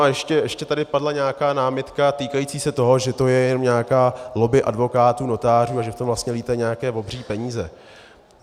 A ještě tady padla nějaká námitka týkající se toho, že to je jenom nějaká lobby advokátů, notářů a že v tom vlastně létají nějaké obří peníze.